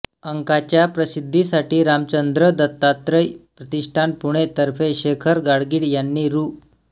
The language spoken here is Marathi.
अंकाच्या प्रसिद्धीसाठी रामचंद्र दत्तात्रय प्रतिष्ठान पुणे तर्फे शेखर गाडगीळ यांनी रु